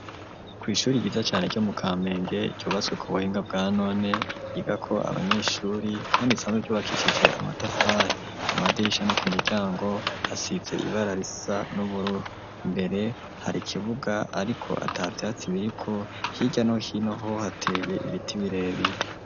Kw'ishuri ryiza cane ryo mu Kamenge ryubatswe ku buhinga bwa none, ryigako abanyeshuri kandi isanzwe ryubakishije amatafari, ku madirisha no ku miryango hasize ibara risa n'uburu, imbere hari ikibuga ariko atavyatsi biriko, hirya no hinoho hateye ibiti birebire.